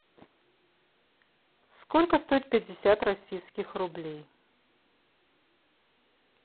сколько стоит пятьдесят российских рублей